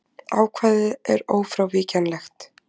Ákvæðið er ófrávíkjanlegt.